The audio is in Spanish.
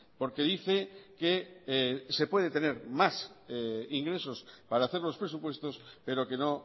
porque dice que se puede tener más ingresos para hacer los presupuestos pero que no